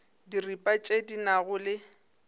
diripa tše di nago le